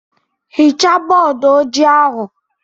Hichaa bọọdụ ojii ahu!